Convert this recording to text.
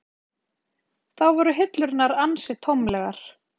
Þá voru hillurnar ansi tómlegar.